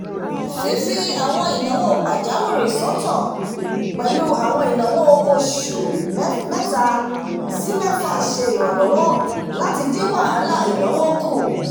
fí fí àwọn ináwó pajawiri sọ̀tọ̀ pẹ̀lú àwọn ináwó oṣù mẹ́ta sí mẹ́fà ṣe iranlọwọ láti dín wahalà ináwó ku